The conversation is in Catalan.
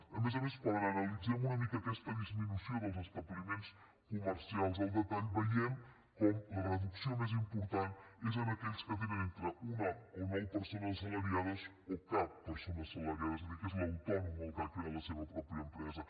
a més a més quan analitzem una mica aquesta disminució dels establiments comercials al detall veiem com la reducció més important és en aquells que tenen entre una o nou persones assalariades o cap persona assalariada és a dir que és l’autònom el que ha creat la seva pròpia empresa